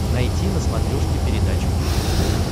найти на смотрешке передачу кухня тв